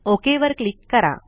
okay click करा